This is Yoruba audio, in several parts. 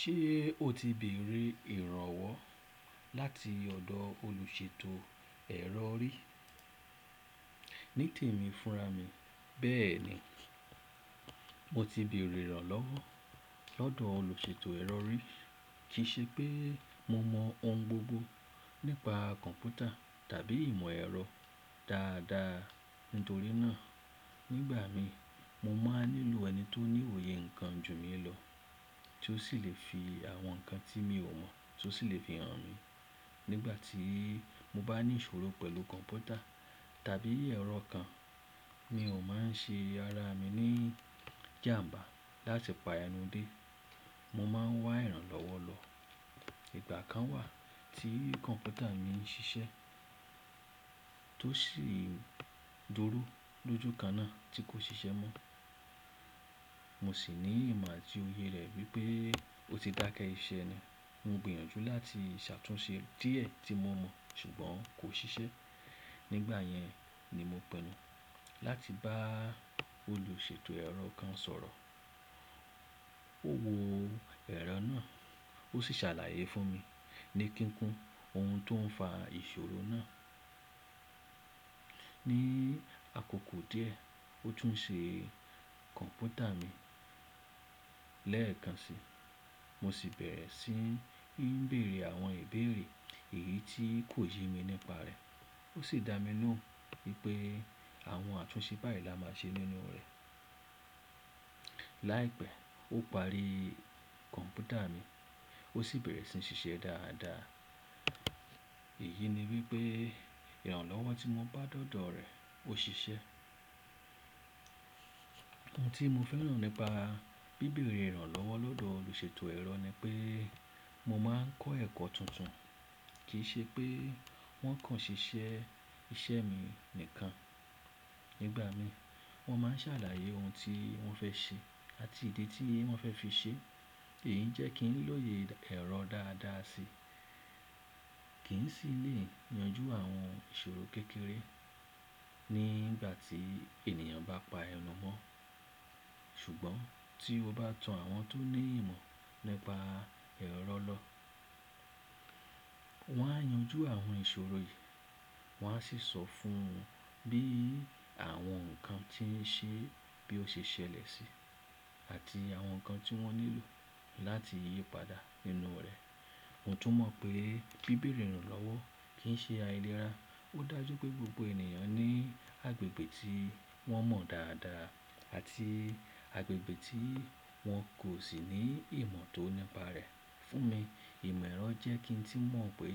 Ṣé o ti bèèrè ìrànlọ́wọ́ láti ọ̀dọ̀ olùṣètò ẹ̀rọ rí? Nítèmi fúnra mi, bẹ́ẹ̀ ni, mo ti bèèrè ìrànlọ́wọ́ lọ́dọ̀ olùṣètò ẹ̀rọ rí. Kì í ṣe pé mo mọ ohun gbogbo nípa kọ̀ǹpútà tàbí ìmọ̀ ẹ̀rọ dáadáa. Nítorí náà, nígbà mi, mo máa ń nílò ẹni tó ní òye nǹkan ju mi lọ, tí ó sì lè fi àwọn nǹkan tí mi ò mọ̀ tó sì lè fi hàn mi. Nígbà tí mo bá ní ìṣòro pẹ̀lú kọ̀ǹpútà tàbí ẹ̀rọ kan, mi ò máa ń ṣe ara mi ní ìjàǹbá láti pa ẹnu dé. Mo máa ń wá ìrànlọ́wọ́ lọ. Ìgbà kan wà tí kọ̀ǹpútà mi ń ṣiṣẹ́, tó sì dúró lójo kan náà tí kò ṣiṣẹ́ mọ́. Mo sì ní ìmọ̀ àti òye rẹ̀ wípé ó ti dákẹ́ iṣẹ́ ni. Mo gbìyànjú láti ṣàtúnṣe díẹ̀ tí mo mọ̀, ṣùgbọ́n kò ṣiṣẹ́. Nígbà yẹn ni mo pinu láti bá olùṣètò ẹ̀rọ kan sọ̀rọ̀. Ó wo ẹ̀rọ náà, ó sì ṣàlàyé fún mi ní kíkún ohun tó ń fa ìṣòro náà. Ni àkókò díẹ̀, ó tún ṣe kọ̀ǹpútà mi. Lẹ́ẹ̀kan si, mo sì bẹ̀rẹ̀ sí ní bèèrè àwọn ìbéèrè èyí tí kò jí mi nípa rẹ̀. Ó sì dá mi lọ̀un wípé àwọn àtúnṣe báyìí la máa ṣe nínú rẹ̀. Láìpẹ́, ó parí kọ̀ǹpútà mi, ó sì bẹ̀rẹ̀ sí ní ṣiṣẹ́ dáadáa. Èyí ni wípé ìrànlọ́wọ́ tí mo bá dọ̀dọ̀ rẹ̀, ó ṣiṣẹ́. Ohun tí mo fẹ́ràn nípa bíbèrè ìrànlọ́wọ́ lọ́dọ̀ olùṣètò ẹ̀rọ ni pé mo máa ń kọ́ ẹ̀kọ́ tuntun. Kì í ṣe pé wọ́n kàn ṣiṣẹ́ iṣẹ́ mi nìkan. Nígbà mi, wọ́n máa ń ṣàlàyé ohun tí wọ́n fẹ́ ṣe àti ìdí tí wọ́n fẹ́ fi ṣe. Èyí jẹ́ kí ń lòye ẹ̀rọ dáadáa si. Kì í sì lè yanjú àwọn ìṣòro kékeré nígbà tí ènìyàn bá pa ẹnu mọ́. Ṣùgbọ́n tí o bá tan àwọn tó ní ìmọ̀ nípa ẹ̀rọ lọ, wọ́n á yanjú àwọn ìṣòro yìí, wọ́n á sì sọ fún ọ bí àwọn nǹkan tí ń ṣe bí ó ṣe ṣẹlẹ̀ sí, àti àwọn nǹkan tí wọ́n nílò láti yí padà nínú rẹ̀. Mo tún mọ̀ pé bíbèrè ìrànlọ́wọ́ kì í ṣe aìlera. Ó dájú pé gbogbo ènìyàn ní agbègbè tí wọ́n mọ̀ dáadáa àti agbègbè tí wọn kò sì ní ìmọ̀ tó nípa rẹ̀. Fún mi, ìmọ̀ ẹ̀rọ jẹ́ kí n tí mọ̀ pé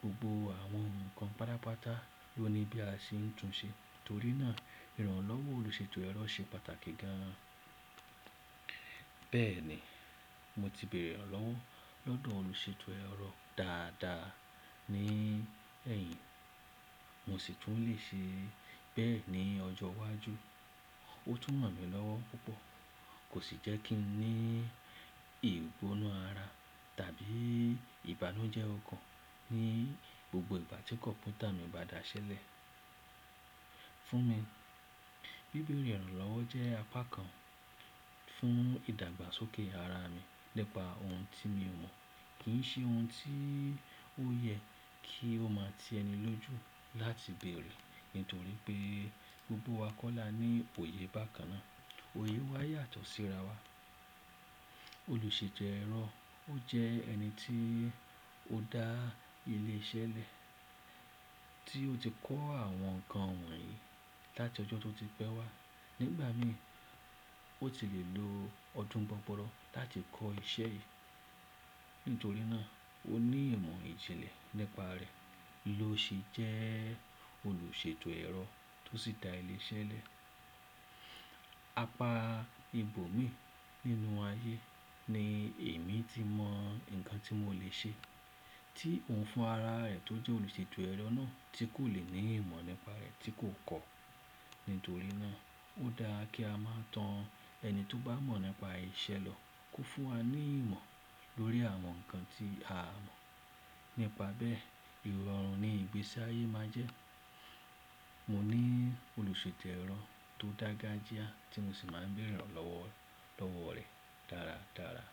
gbogbo àwọn nǹkan pádápàá ló ni bí a ṣe ń tun ṣe. Nítorí náà ìrànlọ́wọ́ olùṣètò ẹ̀rọ ṣe pàtàkì gan-an. Bẹ́ẹ̀ ni, mo ti bèèrè ìrànlọ́wọ́ lọ́dọ̀ olùṣètò ẹ̀rọ dáadáa ní ẹ̀yìn, mo sì tún lè ṣe bẹ́ẹ̀ ní ọjọ́ iwájú. Ó tún mọ̀ mi lọ́wọ́ púpọ̀. Kò sì jẹ́ kí n ní ìgbóná ara tàbí ìbànújẹ́ ọkàn ní gbogbo ìgbà tí kọ̀ǹpútà mi bá daṣẹ́lẹ̀. Fún mi, bíbèrè ìrànlọ́wọ́ jẹ́ apá kan fún ìdàgbàsókè ara mi nípa ohun tí mi ò mọ̀. Kì í ṣe ohun tí ó yẹ kí ó máa ti ẹni lójú láti bèèrè, nítorí pé gbogbo wa kọ́ lá ní òye bákan náà. Òye wa yàtọ̀ síra wa. Olùṣètò ẹ̀rọ, ó jẹ́ ẹni tí ó dá ilé iṣẹ́ lẹ̀, tí ó ti kọ́ àwọn nǹkan wọ̀nyí láti ọjọ́ tó ti pẹ́ wá. Nígbà mi, ó ti lè lo ọdún gbọ́ngbọ̀rọ̀ láti kọ́ iṣẹ́ yìí. Nítorí náà ó ní ìmọ̀ ìjìnlẹ̀ nípa rẹ̀. Lo ṣe jẹ́ olùṣètò ẹ̀rọ tó sì dá ilé iṣẹ́ lẹ̀. Apá ibòmíì nínú ayé ni èmi tí mọ nǹkan tí mo lè ṣe, tí òun fún ara rẹ̀ tó jẹ́ olùṣètò ẹ̀rọ náà tí kò lè ní ìmọ̀ nípa rẹ̀ tí kò kọ́. Nítorí náà ó dáa kí a máa tan ẹni tó bá mọ̀ nípa iṣẹ́ lọ kó fún wa ní ìmọ̀ lórí àwọn nǹkan tí a mọ̀. Nípa bẹ́ẹ̀, ìrọ̀rùn ni ìgbésí ayé máa jẹ́. Mo ní olùṣètò ẹ̀rọ tó dága já tí mo sì máa ń bèèrè ìrànlọ́wọ́ lọ́wọ́ rẹ̀ dáradára.